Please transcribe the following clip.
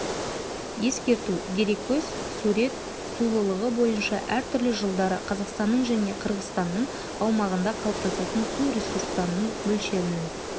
ескерту дереккөз сурет сулылығы бойынша әртүрлі жылдары қазақстанның және қырғызстанның аумағында қалыптасатын су ресурстарының мөлшерінің